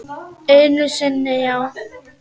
Einu sinni já.